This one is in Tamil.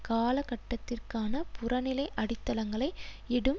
காலகட்டத்திற்கான புறநிலை அடித்தளங்களை இடும்